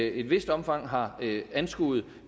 i et vist omfang har anskuet